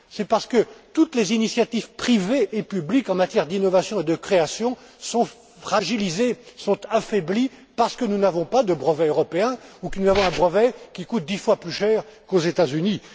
C'est parce que toutes les initiatives privées et publiques en matière d'innovation et de création sont fragilisées, sont affaiblies parce que nous n'avons pas de brevet européen ou que nous avons un brevet qui coûte dix fois plus cher qu'aux États Unis.